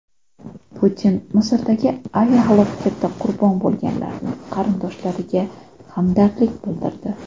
Putin Misrdagi aviahalokatda qurbon bo‘lganlarning qarindoshlariga hamdardlik bildirdi.